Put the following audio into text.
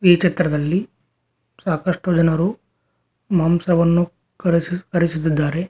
ಈ ಚಿತ್ರದಲ್ಲಿ ಸಾಕಷ್ಟು ಜನರು ಮಾಂಸವನ್ನು ಕಡೆಸು-ಕಡಿಸುತ್ತಿದ್ದಾರೆ.